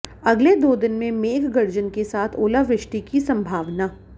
अगले दो दिन में मेघगर्जन के साथ ओलावृष्टि की संभावना